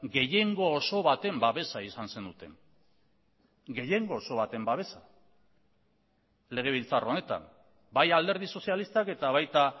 gehiengo oso baten babesa izan zenuten gehiengo oso baten babesa legebiltzar honetan bai alderdi sozialistak eta baita